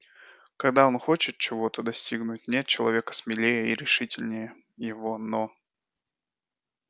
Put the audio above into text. когда он хочет чего-то достигнуть нет человека смелее и решительнее его но